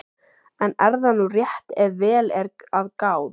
En er það nú rétt ef vel er að gáð?